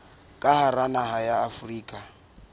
ka hara naha ya afrika